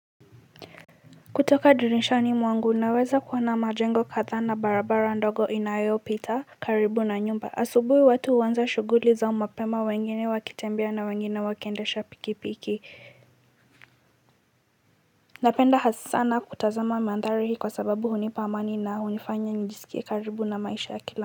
Kutoka dirishani mwangu naweza kuona majengo kadha na barabara ndogo inayopita karibu na nyumba asubuhi watu huanza shughuli zao mapema wengine wakitembea na wengine wakiendesha pikipiki napenda hasana kutazama mandhari kwa sababu hunipa amani na hunifanya nijisikie karibu na maisha ya kila.